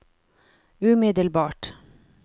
umiddelbart